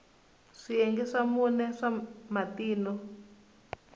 swiyenge swa mune swa matino